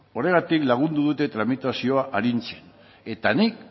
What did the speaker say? horregatik lagundu dute tramitazioa arintzen eta nik